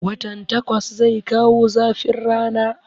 Watan takwas zai kawo zafin rana